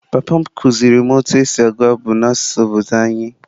Papa m kụziiri m otú e si agụ abụ n’asụsụ obodo anyị.